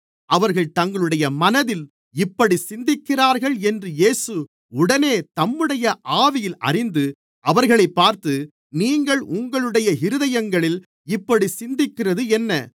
அவர்கள் தங்களுடைய மனதில் இப்படிச் சிந்திக்கிறார்கள் என்று இயேசு உடனே தம்முடைய ஆவியில் அறிந்து அவர்களைப் பார்த்து நீங்கள் உங்களுடைய இருதயங்களில் இப்படிச் சிந்திக்கிறது என்ன